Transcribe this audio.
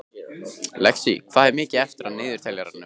Lexí, hvað er mikið eftir af niðurteljaranum?